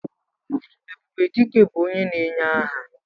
Ebube Dike bụ onye na-enye aha.